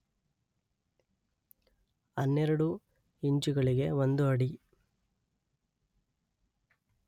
ಹನ್ನೆರಡು ಇಂಚುಗಳಿಗೆ ಒಂದು ಅಡಿ.